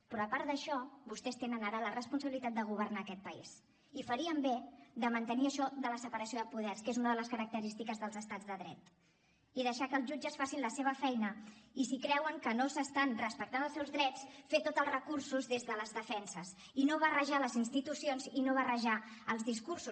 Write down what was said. però a part d’això vostès tenen ara la responsabilitat de governar aquest país i farien bé de mantenir això de la separació de poders que és una de les característiques dels estats de dret i deixar que els jutges facin la seva feina i si creuen que no s’estan respectant els seus drets fer tots els recursos des de les defenses i no barrejar les institucions i no barrejar els discursos